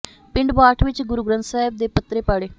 ਪਿੰਡ ਬਾਠ ਵਿੱਚ ਗੁਰੂ ਗ੍ਰੰਥ ਸਾਹਿਬ ਦੇ ਪੱਤਰੇ ਪਾੜੇ